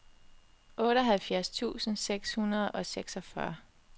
otteoghalvfjerds tusind seks hundrede og seksogfyrre